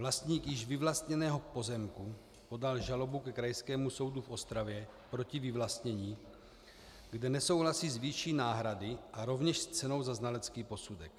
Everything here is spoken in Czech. Vlastník již vyvlastněného pozemku podal žalobu ke Krajskému soudu v Ostravě proti vyvlastnění, kde nesouhlasí s výší náhrady a rovněž s cenou za znalecký posudek.